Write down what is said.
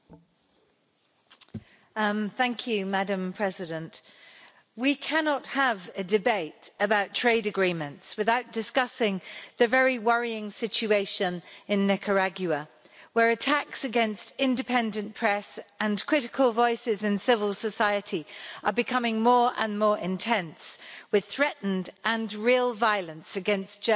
Madam President, we cannot have a debate about trade agreements without discussing the very worrying situation in Nicaragua, where attacks against the independent press and critical voices in civil society are becoming more and more intense, with threatened and real violence against journalists and NGOs in particular.